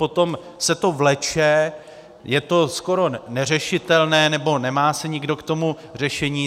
Potom se to vleče, je to skoro neřešitelné, nebo nemá se nikdo k tomu řešení.